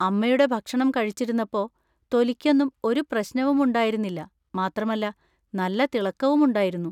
അമ്മയുടെ ഭക്ഷണം കഴിച്ചിരുന്നപ്പോ തൊലിക്കൊന്നും ഒരു പ്രശ്നവും ഉണ്ടായിരുന്നില്ല മാത്രമല്ല നല്ല തിളക്കവും ഉണ്ടായിരുന്നു.